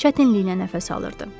Çətinliklə nəfəs alırdı.